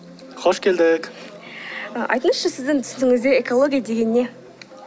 қош келдік ы айтыңызшы сіздің түсінігіңізде экология деген не